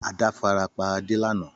Àdá farapa Ade lana.